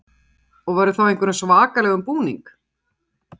Berghildur: Og verður þá í einhverjum svakalegum búning?